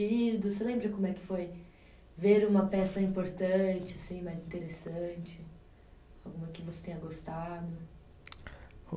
Você lembra como é que foi ver uma peça importante, assim, mais interessante? Alguma que você tenha gostado?